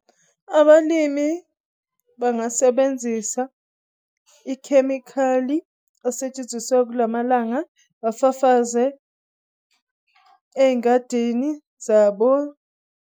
Abalimi bangasebenzisa ikhemikhali asetshenziswa kulamalanga afafazwe ey'ngadini zabo.